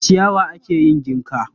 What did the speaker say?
Da ciyawa ake yin jinka.